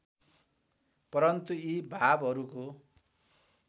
परन्तु यी भावहरूको